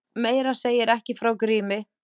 Meira segir ekki frá Grími.